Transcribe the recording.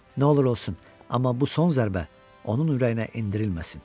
Yox, nə olur olsun, amma bu son zərbə onun ürəyinə endirilməsin.